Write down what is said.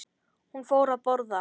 Hún fór að borða.